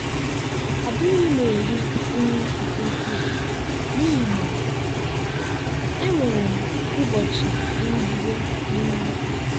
adịghị m eri nri nke ukwuu n'ihi na enwere m ụbọchị nrụgide n'ihu.